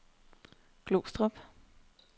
Glostrup